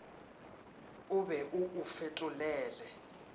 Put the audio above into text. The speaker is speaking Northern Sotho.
o be o o fetolele